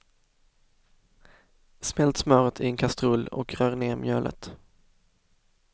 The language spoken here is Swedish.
Smält smöret i en kastrull och rör ner mjölet.